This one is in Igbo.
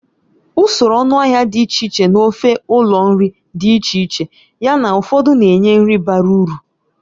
Usoro ọnụahịa dị iche iche n'ofe ụlọ nri dị iche iche, yana ụfọdụ na-enye nri bara uru.